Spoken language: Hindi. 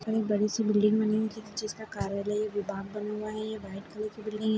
थोड़ी बड़ी- सी बिल्डिंग बनी है जिस जिसका कार्यालय विभाग बना हुआ है ये व्हाइट कलर की बिल्डिंग हैं।